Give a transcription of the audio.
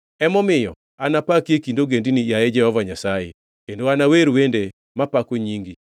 Emomiyo anapaki e kind ogendini, yaye Jehova Nyasaye, kendo anawer wende mapako nyingi.